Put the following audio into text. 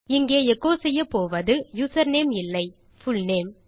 இங்கு எச்சோ செய்யப்போவது யூசர்நேம் இல்லை புல்நேம்